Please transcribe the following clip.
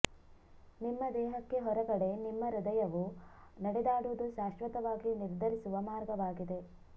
ನಿಮ್ಮ ದೇಹಕ್ಕೆ ಹೊರಗಡೆ ನಿಮ್ಮ ಹೃದಯವು ನಡೆದಾಡುವುದು ಶಾಶ್ವತವಾಗಿ ನಿರ್ಧರಿಸುವ ಮಾರ್ಗವಾಗಿದೆ